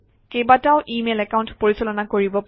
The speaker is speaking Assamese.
কেইবাটাও ইমেইল একাউণ্ট পৰিচালনা কৰিব পাৰি